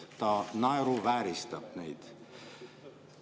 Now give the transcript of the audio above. Ta naeruvääristab neid.